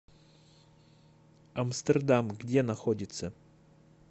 амстердам где находится